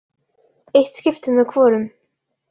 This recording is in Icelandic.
Eitt skipti með hvorum.